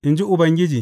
In ji Ubangiji.